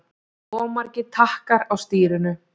Of margir takkar á stýrinu